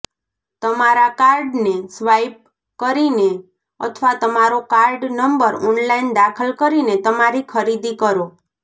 તમારા કાર્ડને સ્વાઇપ કરીને અથવા તમારો કાર્ડ નંબર ઓનલાઇન દાખલ કરીને તમારી ખરીદી કરો